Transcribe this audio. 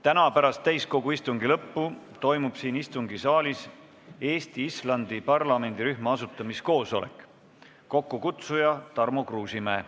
Täna pärast täiskogu istungi lõppu toimub siin istungisaalis Eesti-Islandi parlamendirühma asutamiskoosolek, mille kokkukutsuja on Tarmo Kruusimäe.